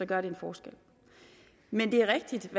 gør det en forskel men det er rigtigt